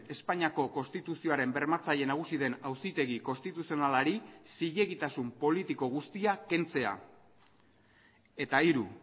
espainiako konstituzioaren bermatzaile nagusi den auzitegi konstituzionalari zilegitasun politiko guztia kentzea eta hiru